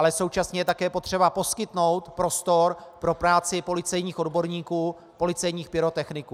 Ale současně je také potřeba poskytnout prostor pro práci policejních odborníků, policejních pyrotechniků.